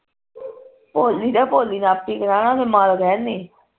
ਭੋਲੀ ਦਾ ਭੋਲੀ ਨੇ ਆਪੇ ਕਰਾਨਾ ਓਹਨੇ ਮਾਂ ਤਾ ਕਹਿੰਦੀ